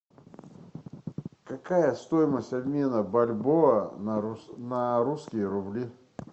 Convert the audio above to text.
какая стоимость обмена бальбоа на русские рубли